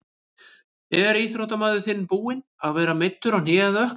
Er íþróttamaður þinn búinn að vera meiddur á hné eða ökkla?